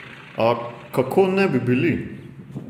A, kako ne bi bili?